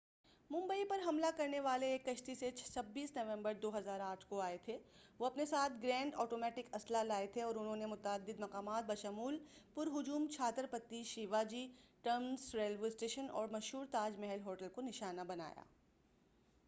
ممبئی پر حملہ کرنے والے ایک کشتی سے 26 نومبر 2008ء کو آئے تھے وہ اپنے ساتھ گرینیڈ آٹومیٹک اسلحہ لائے تھے اور انہوں نے متعدد مقامات بشمول پر ہجوم Chhatrapati Shivaji terminus railway station اور مشہور تاج محل ہوٹل کو نشانہ بنایا